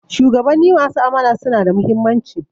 Shugabanni masu amana suna da muhimmanci